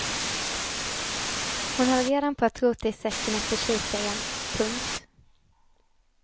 Hon höll redan på att rota i säcken efter kikaren. punkt